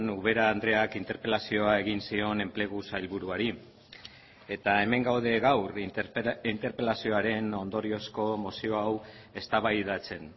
ubera andreak interpelazioa egin zion enplegu sailburuari eta hemen gaude gaur interpelazioaren ondoriozko mozio hau eztabaidatzen